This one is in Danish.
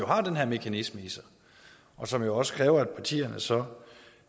har den her mekanisme i sig som jo også kræver at partierne så